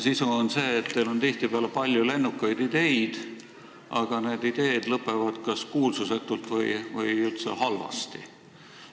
Sisu oli see, et teil on tihtipeale palju lennukaid ideid, aga need lõpevad kas kuulsusetult või üldse halvasti.